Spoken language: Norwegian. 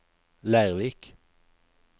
Leirvik